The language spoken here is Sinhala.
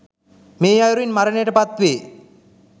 මේ අයුරින් මරණයට පත් වේ